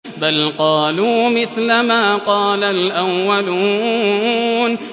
بَلْ قَالُوا مِثْلَ مَا قَالَ الْأَوَّلُونَ